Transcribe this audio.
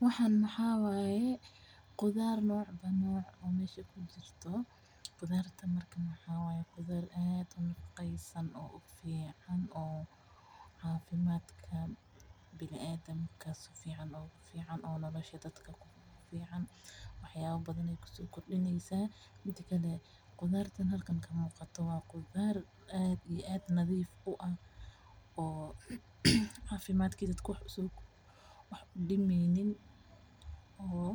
Wxan mxa waye qudar nocba noc o meshakujiro, qudarta marka maxawaye qudar ad u nafeceysan oo fican oo cafimadka biniadamka sifican ugu fican oo nolosha dadaka kufican waxyawa farabadan ay kuso kordineysa midi kale qudartahn halka kamuqato wa qudar ad iyo ad nadif u ah oo cafimadaki dadk wax u dimeyni oo